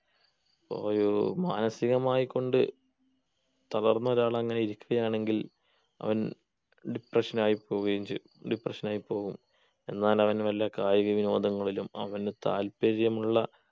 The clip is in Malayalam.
ഓയോ മാനസികമായിക്കൊണ്ട് തളർന്ന ഒരാൾ അങ്ങനെ ഇരിക്കയാണെങ്കിൽ അവൻ depression ആയി പോവുകയും ചെയ്യും depression ആയി പോവും എന്നാൽ അവൻ വല്ല കായിക വിനോദങ്ങളിലും അവന് താല്പര്യമുള്ള